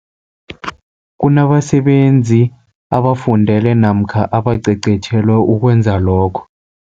Kunabasebenzi abafundele namkha abacecetjhelwe ukwenza lokho.